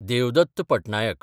Devdatt Patnaik